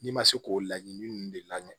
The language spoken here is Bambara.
N'i ma se k'o laɲini ninnu de lagɛ